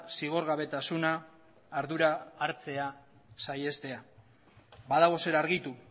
zigorgabetasuna ardura hartzea saihestea badago zer argitu